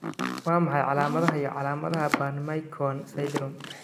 Waa maxay calaamadaha iyo calaamadaha Burn McKeown syndrome?